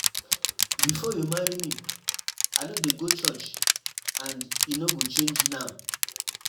Before you marry me, I no dey go church and e no go change now.